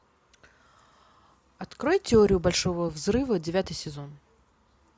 открой теорию большого взрыва девятый сезон